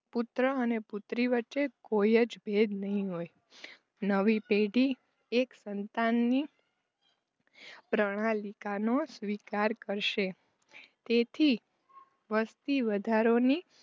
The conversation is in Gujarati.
પુત્ર અને પુત્રી વચ્ચે કોઈ જ ભેદ નહિ હોય નવી પેઢી એક સંતાનને પ્રણાલિકાનો સ્વીકાર કરીશે તેથી વસ્તી વધારોની